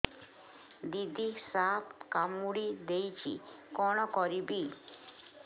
ଦିଦି ସାପ କାମୁଡି ଦେଇଛି କଣ କରିବି